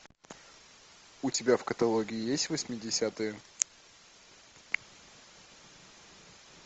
у тебя в каталоге есть восьмидесятые